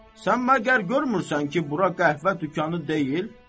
Sən məgər görmürsən ki, bura qəhvə dükanı deyil?